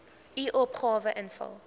u opgawe invul